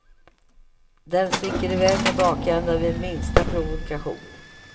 Den sticker i väg med bakändan vid minsta provokation.